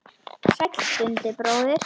Sæll Dundi bróðir!